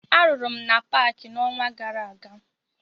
Arụrụ m na paakị n'ọnwa gara aga